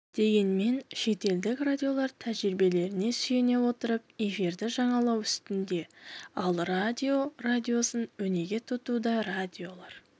дегенмен шетелдік радиолар тәжірибелеріне сүйене отырып эфирді жаңалау үстінде ал радио радиосын өнеге тұтуда көптеген радиолар